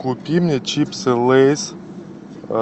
купи мне чипсы лейс